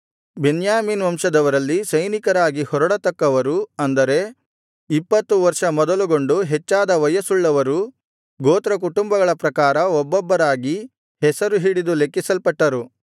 ಬೆನ್ಯಾಮೀನ್ ವಂಶದವರಲ್ಲಿ ಸೈನಿಕರಾಗಿ ಹೊರಡತಕ್ಕವರು ಅಂದರೆ ಇಪ್ಪತ್ತು ವರ್ಷ ಮೊದಲುಗೊಂಡು ಹೆಚ್ಚಾದ ವಯಸ್ಸುಳ್ಳವರು ಗೋತ್ರಕುಟುಂಬಗಳ ಪ್ರಕಾರ ಒಬ್ಬೊಬ್ಬರಾಗಿ ಹೆಸರು ಹಿಡಿದು ಲೆಕ್ಕಿಸಲ್ಪಟ್ಟರು